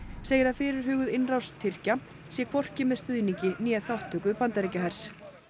segir að fyrirhuguð innrás Tyrkja sé hvorki með stuðningi né þátttöku Bandaríkjahers